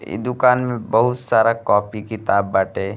इ दुकान में बहुत सारा कॉपी किताब बाटे।